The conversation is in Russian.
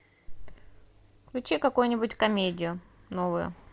включи какую нибудь комедию новую